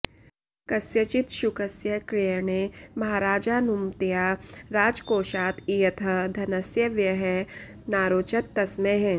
कस्यचित् शुकस्य क्रयणे महाराजानुमत्या राजकोषात् इयतः धनस्य व्ययः नारोचत तस्मै